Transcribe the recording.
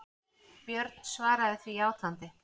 Björn svaraði því játandi.